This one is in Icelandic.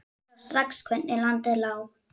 Sá strax hvernig landið lá.